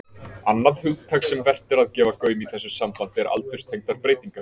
Annað hugtak sem vert er að gefa gaum í þessu sambandi er aldurstengdar breytingar.